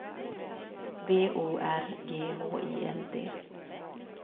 B O R G H I L D